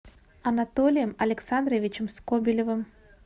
анатолием александровичем скобелевым